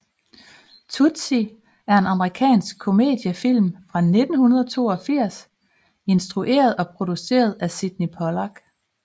Tootsie er en amerikansk komediefilm fra 1982 instrueret og produceret af Sydney Pollack